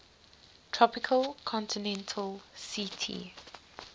tropical continental ct